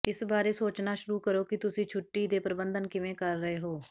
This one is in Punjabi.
ਇਸ ਬਾਰੇ ਸੋਚਣਾ ਸ਼ੁਰੂ ਕਰੋ ਕਿ ਤੁਸੀਂ ਛੁੱਟੀ ਦੇ ਪ੍ਰਬੰਧਨ ਕਿਵੇਂ ਕਰ ਰਹੇ ਹੋ